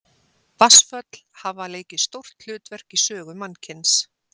Vatnsföll hafa leikið stórt hlutverk í sögu mannkyns.